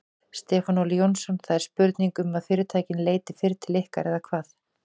Stefán Óli Jónsson: Það er spurning um að fyrirtækin leiti fyrr til ykkar eða hvað?